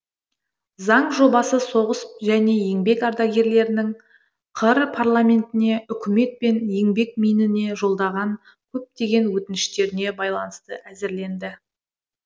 заң жобасы соғыс және еңбек ардагерлерінің қр парламентіне үкімет пен еңбекминіне жолдаған көптеген өтініштеріне байланысты әзірленді